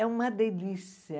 É uma delícia.